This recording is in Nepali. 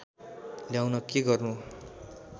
ल्याउन के गर्नु